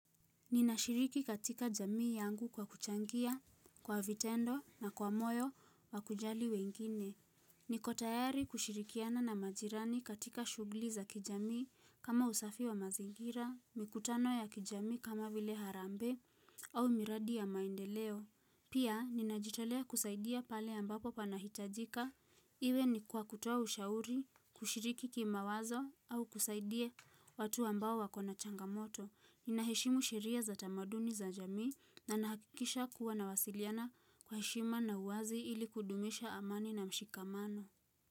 Ninashiriki katika jamii yangu kwa kuchangia, kwa vitendo na kwa moyo, wakujali wengine. Nikotayari kushirikiana na majirani katika shughuli za kijamii kama usafi wa mazingira, mikutano ya kijamii kama vile harambee au miradi ya maendeleo. Pia, ninajitolea kusaidia pale ambapo panahitajika. Iwe ni kwa kutoa ushauri, kushiriki kimawazo au kusaidie watu ambao wakona changamoto. Nina heshimu sheria za tamaduni za jamii na nakikisha kuwa na wasiliana kwa heshima na uwazi ili kudumisha amani na mshikamano.